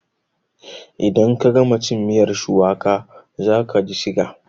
In ka gama cin miyar shuwaka za kaji siga